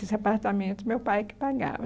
Esse apartamento, meu pai que pagava.